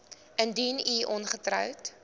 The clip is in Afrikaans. indien u ongetroud